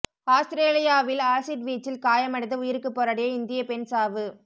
ஆஸ்திரேலியாவில் ஆசிட் வீச்சில் காயமடைந்து உயிருக்குப் போராடிய இந்திய பெண் சாவு